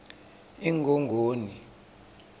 ingongoni